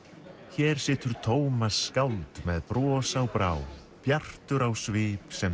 hér situr Tómas skáld með bros á brá bjartur á svip sem